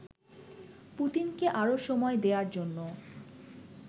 পুতিনকে আরো সময় দেয়ার জন্য